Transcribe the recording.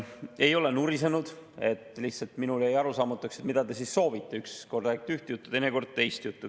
Ei ole nurisenud, lihtsalt mulle jäi arusaamatuks, mida te siis soovite, kui ükskord räägite ühte juttu ja teinekord teist juttu.